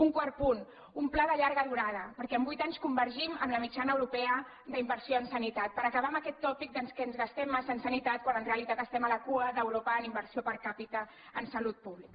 un quart punt un pla de llarga durada perquè en vuit anys convergim amb la mitjana europea d’inversió en sanitat per acabar amb aquest tòpic que ens gastem massa en sanitat quan en realitat estem a la cua d’eu·ropa en inversió per capita en salut pública